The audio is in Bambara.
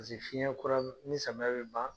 fiɲɛ kura min ni samiya bɛ ban.